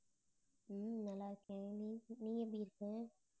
உம் நல்லா இருக்கேன் நீ நீ எப்படி இருக்கே